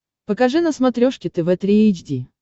покажи на смотрешке тв три эйч ди